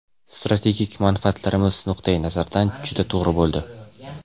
strategik manfaatlarimiz nuqtai nazaridan juda to‘g‘ri bo‘ldi.